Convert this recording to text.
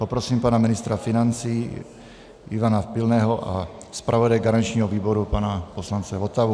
Poprosím pana ministra financí Ivana Pilného a zpravodaje garančního výboru pana poslance Votavu.